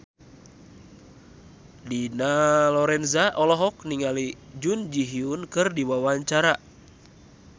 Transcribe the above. Dina Lorenza olohok ningali Jun Ji Hyun keur diwawancara